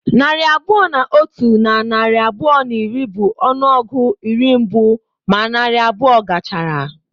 Narị abụọ na otu na narị abụọ na iri bụ ọnụọgụ iri mbụ ma narị abụọ gachara.